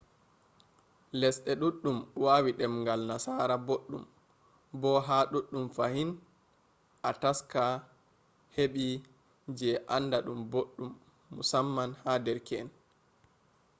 lesde duddum wawi demgal nasara boddum bo ha duddum fahin a taska hebi je anda dum boddum - musamman ha derke’en